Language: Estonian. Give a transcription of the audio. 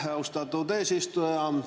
Aitäh, austatud eesistuja!